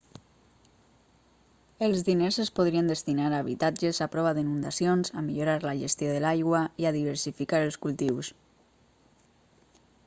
els diners es podrien destinar a habitatges a prova d'inundacions a millorar la gestió de l'aigua i a diversificar els cultius